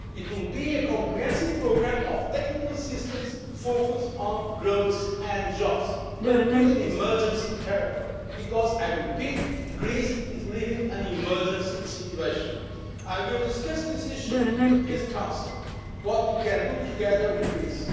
funds. It will be a comprehensive programme of technical assistance focused on growth and jobs, but with an emergency character because I repeat Greece is living in an emergency situation. I will discuss these issues with the European Council what we can do together